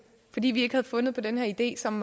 fordi vi ikke havde fundet på den her idé som